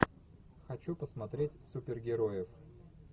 хочу посмотреть супергероев